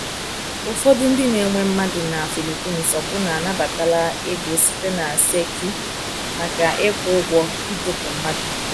Ụfọdụ ndị na-ewe mmadụ na Philippines ọbụna anabatala ego site na tseki maka ịkwụ ụgwọ ịdọkpụ mmadụ.